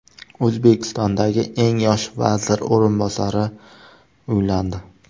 O‘zbekistondagi eng yosh vazir o‘rinbosari uylandi.